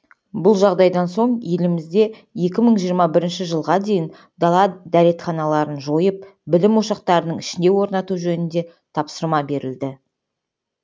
бұл жағдайдан соң елімізде екі мың жиырма бірінші жылға дейін дала дәретханаларын жойып білім ошақтарының ішіне орнату жөнінде тапсырма берілді